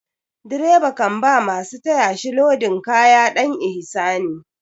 Direba kan ba masu taya shi lodin kaya ɗan ihsani.